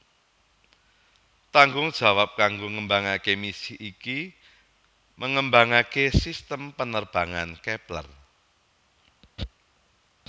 Tanggung jawab kanggo ngembangaké misi iki mengembangaké sistem penerbangan Kepler